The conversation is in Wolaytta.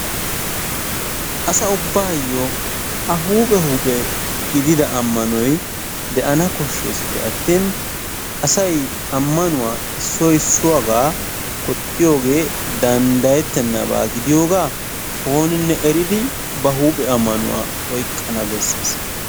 Asa ubbaayyoo A huuphe huuphe gidida ammanoy de"ana koshshesippe aattin asay ammanuwaa issoy issuwaagaa koxxiyoogee danddayettennaba gidiyoogaa ooninne eridi ba huuphe ammanuwa oyqqana bessees.